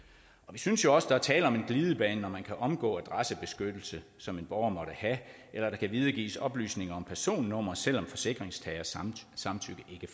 vi synes også der er tale om en glidebane når man kan omgå en adressebeskyttelse som en borger måtte have eller der kan videregives oplysninger om personnummer selv om forsikringstagers samtykke ikke